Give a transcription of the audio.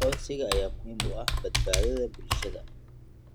Aqoonsiga ayaa muhiim u ah badbaadada bulshada.